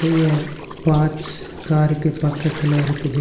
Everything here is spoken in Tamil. இங்க பார்ட்ஸ் காருக்கு பக்கத்துல இருக்குது.